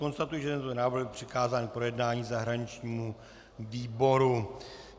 Konstatuji, že tento návrh byl přikázán k projednání zahraničnímu výboru.